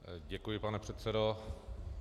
Děkuji, pane předsedo.